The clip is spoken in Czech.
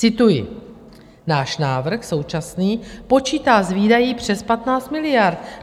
Cituji: "Náš návrh současný počítá s výdaji přes 15 miliard."